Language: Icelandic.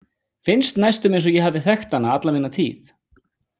Finnst næstum eins og ég hafi þekkt hana alla mína tíð.